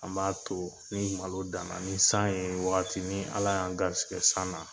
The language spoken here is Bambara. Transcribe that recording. An b'a to ni malo dan na ni san ye wagatini ni ala y'an garisikɛ san na